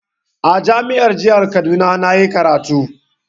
A jami'ar jihar Kaduna na yi karatu.